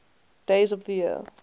days of the year